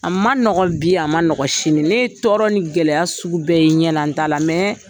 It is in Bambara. A man nɔgɔn bi a man nɔgɔn sini ne ye tɔɔrɔ ni gɛlɛya sugu bɛɛ ye n ɲɛ na n ta la